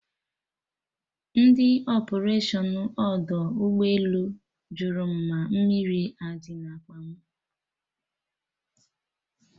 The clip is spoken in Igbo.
Ndị ọpụration ọdọ ụgbọ elu jụrụ mụ ma mmiri adị na akpa mụ?